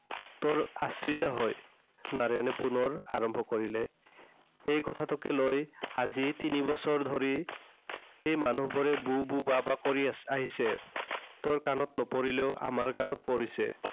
তোৰ আশ্ৰিত হৈ। নাৰায়ণে পুনৰ আৰম্ভ কৰিলে। এই কথাটোকে লৈ আজি তিনিবছৰ ধৰি, মানুহবোৰে বু বু বা বা কৰি আ~আহিছে। তোৰ কাণত নপৰিলেও আমাৰ কাণত পৰিছে।